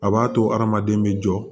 A b'a to hadamaden bɛ jɔ